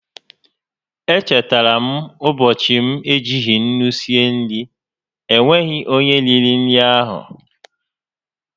E chetara m ụbọchị m ejighi ńnú sie nri, e nweghị onyé riri nri áhụ̀